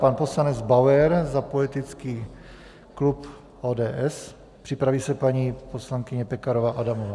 Pan poslanec Bauer za politický klub ODS, připraví se paní poslankyně Pekarová Adamová.